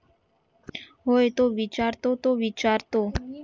होय तो विचारतो तो विचारते